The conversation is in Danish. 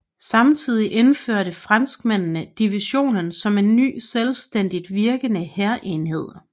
Samtidig indførte franskmændene divisionen som en ny selvstændigt virkende hærenhed